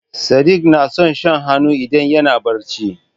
Sadik na son shan hannu idan yana barci.